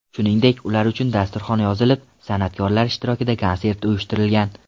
Shuningdek, ular uchun dasturxon yozilib, san’atkorlar ishtirokida konsert uyushtirilgan.